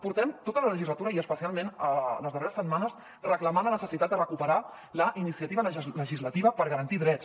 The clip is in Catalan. portem tota la legislatura i especialment les darreres setmanes reclamant la necessitat de recuperar la iniciativa legislativa per garantir drets